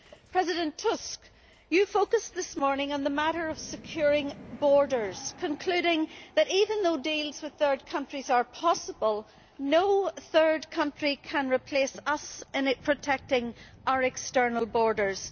President Tusk focused this morning on the matter of securing borders, concluding that even though deals with third countries are possible, no third country can replace us in protecting our external borders.